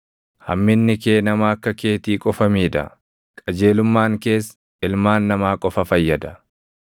Hamminni kee nama akka keetii qofa miidha; qajeelummaan kees ilmaan namaa qofa fayyada.